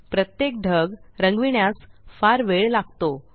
प्रत्येक ढग रंगविण्यास फार वेळ लागतो